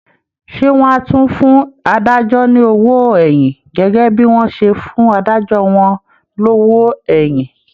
Ṣé wọ́n á tún fún adájọ́ ní owó ẹ̀yìn gẹ́gẹ́ bí wọ́n ṣe fún adájọ́ wọn lówó èyìn?